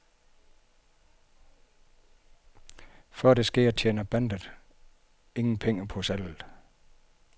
Før det sker, tjener bandet ingen penge på salget.